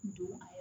Don